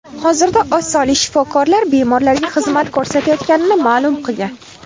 Hozirda oz sonli shifokorlar bemorlarga xizmat ko‘rsatayotganini ma’lum qilgan.